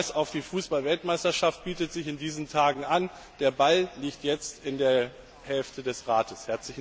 Ein Verweis auf die Fußballweltmeisterschaft bietet sich in diesen Tagen an Der Ball liegt jetzt in der Hälfte des Rates.